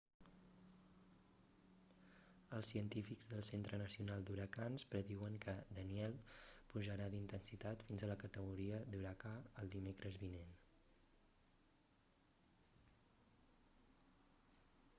els científics del centre nacional d'huracans prediuen que danielle pujarà d'intensitat fins a la categoria d'huracà el dimecres vinent